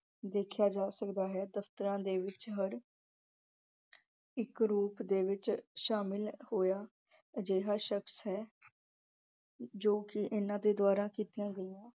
ਦੇਖਿਆ ਜਾ ਸਕਦਾ ਹੈ ਦਫ਼ਤਰਾਂ ਦੇ ਵਿੱਚ ਹਰ ਇੱਕ ਰੂਪ ਦੇ ਵਿੱਚ ਸ਼ਾਮਿਲ ਹੋਇਆ ਅਜਿਹਾ ਸ਼ਖਸ ਹੈ ਜੋ ਕਿ ਇਹਨਾਂ ਦੇ ਦੁਆਰਾ ਕੀਤੀਆ ਗਈਆ।